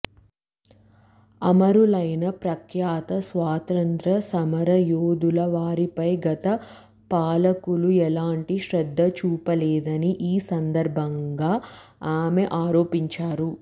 అమరులైన ప్రఖ్యాత స్వాతంత్య్ర సమరయోధుల వారిపై గత పాలకులు ఎలాంటి శ్రద్ధ చూపలేదని ఈ సందర్భంగా ఆమె ఆరోపించారు